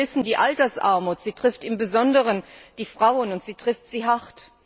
Wir alle wissen Die Altersarmut trifft im Besonderen die Frauen, und sie trifft sie hart.